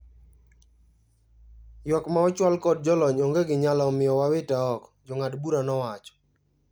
Ywak ma ochwal kod jolony onge gi nyalo omio wawite oko," jong'ad bura nowacho.